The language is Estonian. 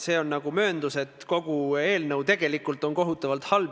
Samuti on tulnud eelnõusid, milles on kirjeldatud, milline on kooskõlastusprotsess.